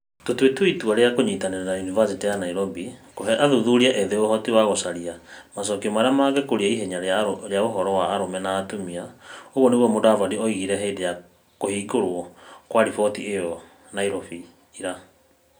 "Tũtuĩte itua rĩa kũnyitanĩra na Yunivacĩtĩ ya Nairobi kũhe athuthuria ethĩ ũhoti wa gũcaria macokio marĩa mangĩkũria ihenya rĩa ũhoro wa arũme na atumia, " ũguo nĩguo Mutavati oigire hĩndĩ ya kũhingũrwo kwa riboti ĩyo Nairobi ira.